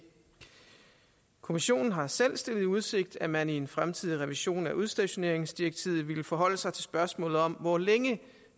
kommissionen har selv stillet i udsigt at man i en fremtidig revision af udstationeringsdirektivet ville forholde sig til spørgsmålet om hvor længe